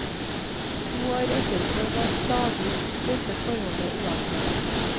To år etterpå var stadig dette forholdet uavklart.